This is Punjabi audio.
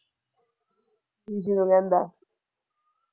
ਇਸ਼ੂ ਨੂੰ ਕਹਿੰਦਾ।